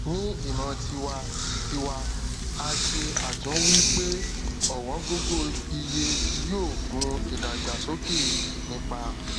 ni imo tiwa tiwa a se atunwi pe owongogoiye yoo gun idagbasoke nipa